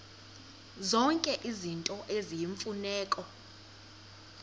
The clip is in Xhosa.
zonke izinto eziyimfuneko